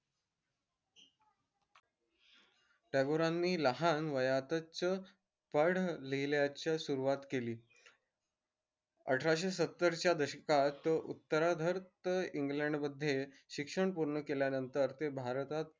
टागोरांनी लहान वयातच पण लिहिल्यास सुरूवात केली आठरक्षे सत्तर दशकात उत्तराधार्थ इंग्लंड मध्ये शिक्षण पूर्ण केल्या नंतर ते भारतात